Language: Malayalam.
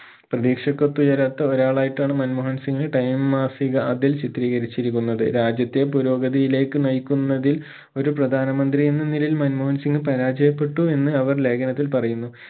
പ്രതീക്ഷക്കു ഒത്തുയരാത്ത ഒരാളായിട്ടാണ് മൻമോഹൻ സിംഗ് time മാസിക അതിൽ ചിത്രീകരിച്ചിരിക്കുന്നത് രാജ്യത്തെ പുരോഗതിയിലേക്ക് നയിക്കുന്നതിൽ ഒരു പ്രധാന മന്ത്രിയെന്ന നിലയിൽ മൻമോഹൻ സിംഗ് പരാജയപ്പെട്ടു എന്ന് അവർ ലേഖനത്തിൽ പറയുന്നു